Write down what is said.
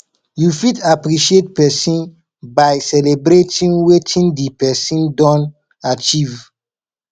you fit appreciate person by celebrating wetin di person don achieve